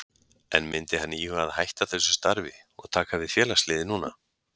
En myndi hann íhuga að hætta þessu starfi og taka við félagsliði núna?